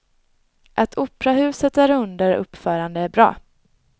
Att operahuset är under uppförande är bra.